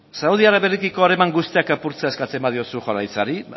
saudi arabiarekiko harreman guztiak apurtzea eskatzen badiozu jaurlaritzari